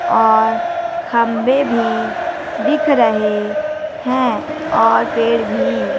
और खंभे भी दिख रहे हैं और पेड़ भी--